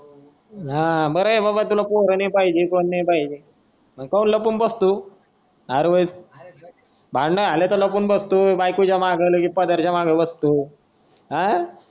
हा बर आहे बाबा तुला पोर नाही पाहिजे कोणी नाही पाहिजे. मग काऊन लपून बसतो आर होई भांडण झाल की लपून बसतो बायकोच्या मग लगेच पदरच्या माग बसतो. आ